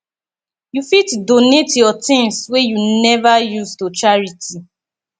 you fit donate yur tins wey yu neva use to charity